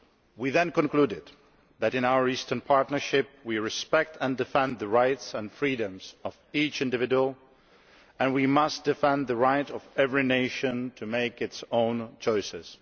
We then concluded that in our Eastern Partnership we respect and defend the rights and freedoms of each individual, and we must defend the right of every nation to make its own choices.